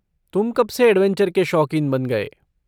तुम कब से ऐड्वेंचर के शौकीन बन गए?